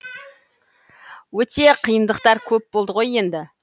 өте қиындықтар көп болды ғой енді